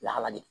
Lahala de